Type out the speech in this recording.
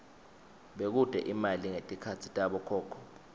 bekute imali ngetikhatsi tabokhokho